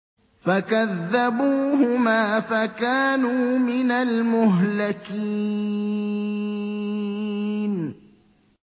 فَكَذَّبُوهُمَا فَكَانُوا مِنَ الْمُهْلَكِينَ